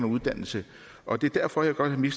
uddannelse og det er derfor jeg godt vil